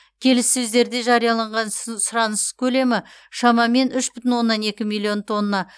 келіссөздерде жарияланған сс сұраныс көлемі шамамен үш бүтін оннан екі миллион тонна